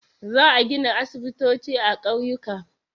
Za a gina aisibitoci a ƙauyuka.